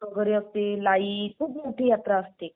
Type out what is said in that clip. Light वगैरे खूप मोठी यात्रा असते.